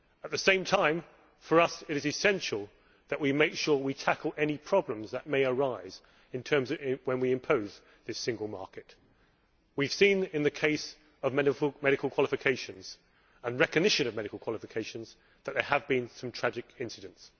At the same time, for us it is essential that we make sure we tackle any problems that may arise when we impose this single market. We have seen in the case of medical qualifications and recognition of medical qualifications, that there have been some tragic incidents.